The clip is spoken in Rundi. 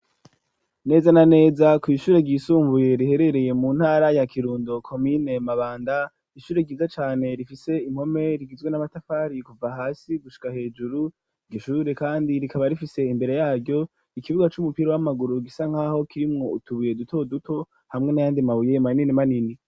Neza na neza kw'ishure ryisumbuye riherereye mu ntara ya Kirundo komine mabanda ishure ryiza cane rifise impome rigizwe n'amatafari kuva hasi gushika hejuru igishure kandi rikaba rifise imbere yaryo ikibuga c'umupira w'amaguru gisa nkaho kirimwo utubuye duto duto hamwe n'ayandi mabuye manini manini.